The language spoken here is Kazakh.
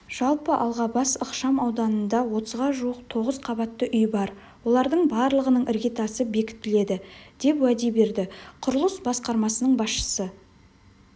жалпы алғабас ықшам ауданында отызға жуық тоғыз қабатты үй бар олардың барлығының іргетасы бекітіледі деп уәде берді құрылыс басқармасының басшысы